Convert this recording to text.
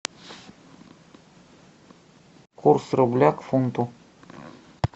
курс рубля к фунту